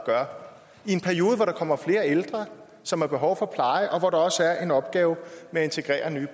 i en periode hvor der kommer flere ældre som har behov for pleje og hvor der også er en opgave med at integrere nye